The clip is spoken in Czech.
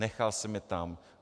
Nechal jsem je tam.